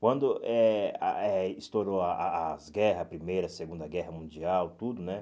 Quando eh ah eh estourou a a as guerras, a primeira, a segunda guerra mundial, tudo, né?